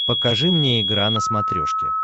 покажи мне игра на смотрешке